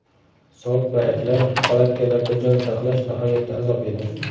Sovuq baraklar, palatkalarda jon saqlash nihoyatda azob edi.